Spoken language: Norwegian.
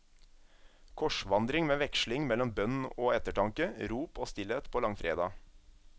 Korsvandring med veksling mellom bønn og ettertanke, rop og stillhet på langfredag.